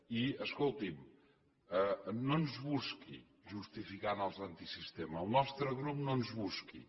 i escolti’m no ens busqui justificant els antisistema al nostre grup no ens hi busqui